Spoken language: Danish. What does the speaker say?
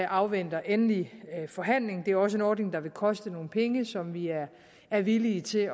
afventer endelig forhandling det er også en ordning der vil koste nogle penge som vi er villige til